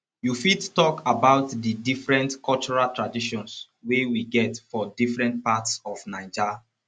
you fit talk about di different cultural traditions wey we get for different parts of naija